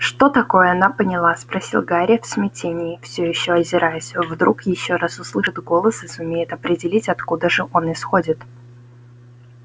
что такое она поняла спросил гарри в смятении всё ещё озираясь вдруг ещё раз услышит голос и сумеет определить откуда же он исходит